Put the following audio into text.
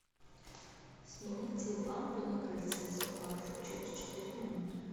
сменить цвет лампы на крыльце спаржу через четыре минуты